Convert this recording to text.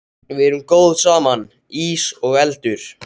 Við erum góð saman, ís og eldur.